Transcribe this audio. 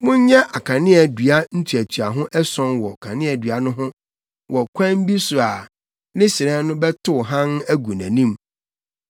“Monyɛ akanea dua ntuatuaho ason wɔ kaneadua no ho wɔ ɔkwan bi so a ne hyerɛn no bɛtow hann agu nʼanim.